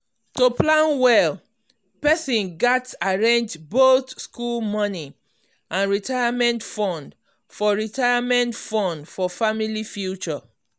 to plan well person gats arrange both school money and retirement fund for retirement fund for family future.